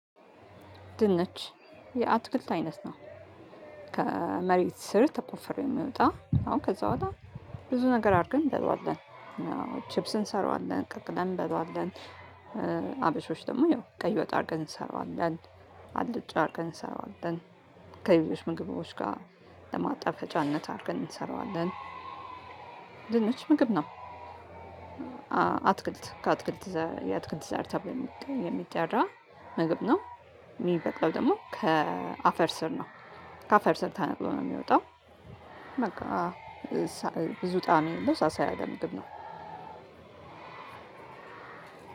ድንች የአትክልት አይነት ነው። ከመሬት ስር ተቆፍሮ የሚወጣ እና ከዛ በኋላ ብዙ ነገር አድርገን እንበለዋለን ቺፕስ እንሰራዋለን ቀቅለን እንበለዋለን። ደግሞ ያው ቀይ ወጣ አድርገን እንሰራዋለን አልጫ አድርገን እንሰራዋለን። ከሌሎች ምግቦች ጋር ለማጣፈጫነት አድርገን እንሰራዋለን። ምግብ ነው። አትክልት ከአትክልት የአትክልት ዘር ተብሎ የሚጠራ ምግብ ነው። የሚበቅለው ደግሞ ከአፈር ስር ነው። ከአፈር ስር ተነቅሎ ነው የሚወጣው። በቃ ብዙ ጣዕም ያለው ሳሳ ያለ ምግብ ነው።